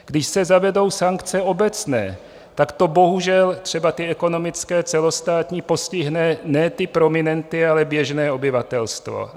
Když se zavedou sankce obecné, tak to bohužel - třeba ty ekonomické, celostátní - postihne ne ty prominenty, ale běžné obyvatelstvo.